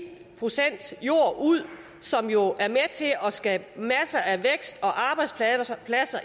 procent jord ud som jo er med til at skabe masser af vækst og arbejdspladser